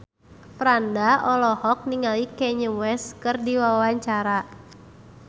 Franda olohok ningali Kanye West keur diwawancara